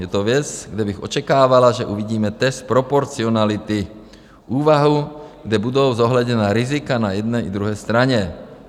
Je to věc, kde bych očekávala, že uvidíme test proporcionality, úvahu, kde budou zohledněna rizika na jedné i druhé straně.